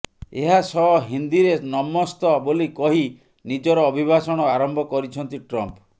ଏହା ସହ ହିନ୍ଦିରେ ନମସ୍ତ ବୋଲି କହି ନିଜର ଅଭିଭାଷଣ ଆରମ୍ଭ କରିଛନ୍ତି ଟ୍ରମ୍ପ